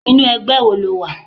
Inú ẹgbẹ́ wo lo wà?